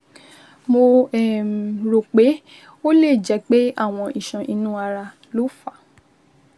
mo um rò pé ó lè jẹ́ pé àwọn iṣan inú ara ló fà á